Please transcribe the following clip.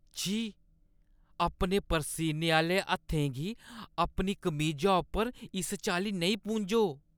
छी। अपने परसीने आह्‌ले हत्थें गी अपनी कमीजा उप्पर इस चाल्ली नेईं पूंझो।